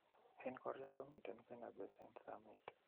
en korya komiten Fenerbahse en sameet